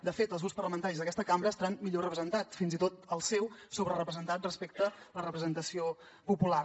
de fet els grups parlamentaris d’aquesta cambra hi estan millor representats fins i tot el seu sobrerepresentat respecte a la representació popular